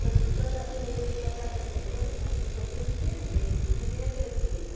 Porque quando a filha vem me contar qualquer coisa, minha filha procura entender, porque ninguém é perfeito.